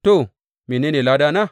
To, mene ne ladana?